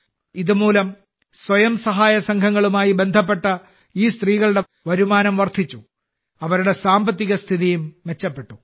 ഇതുമൂലം സ്വയം സഹായസംഘങ്ങളുമായി ബന്ധപ്പെട്ട ഈ സ്ത്രീകളുടെ വരുമാനം വർദ്ധിച്ചു അവരുടെ സാമ്പത്തിക സ്ഥിതിയും മെച്ചപ്പെട്ടു